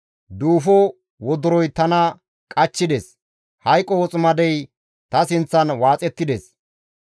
Duufo wodoroy tana qachchides; hayqo woximadey ta sinththan waaxettides.